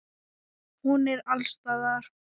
Hún er alls staðar.